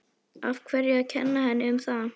Af hverju að kenna henni um það?